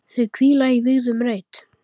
Þau hvíla í vígðum reit.